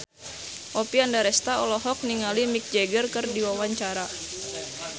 Oppie Andaresta olohok ningali Mick Jagger keur diwawancara